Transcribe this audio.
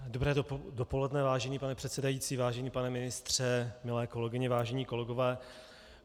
Dobré dopoledne, vážený pane předsedající, vážený pane ministře, milé kolegyně, vážení kolegové.